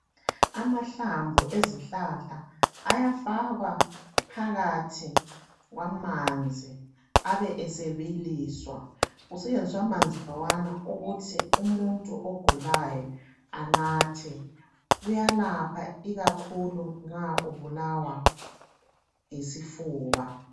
Amahlamvu esihlala ayafakwa phakathi kwamanzi abe esebiliswa kusebenziswe amanzi lawana ukuth umuntu ogulayo anathe. Uyanatha ikakhulu nxa ebulawa yisifuba.